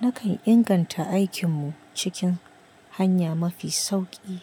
Nakan inganta aikinmu cikin hanya mafi sauƙi,